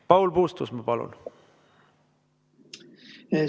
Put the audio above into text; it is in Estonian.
Paul Puustusmaa, palun!